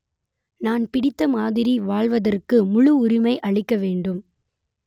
நான் பிடித்தமாதிரி வாழ்வதற்கு முழு உரிமை அளிக்க வேண்டும்